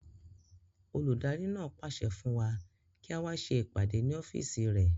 Olùdarí náà pàṣẹ fún wa kí á wá ṣe ìpàdé ní ọ́fìsì rẹ̀